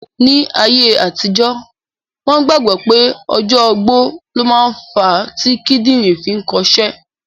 Ní ayé àtijọ́, wọ́n gbàgbọ́ pé ọjọ́ ogbó ló ma ń fa tí kídìrín fi ń kọ'ṣẹ́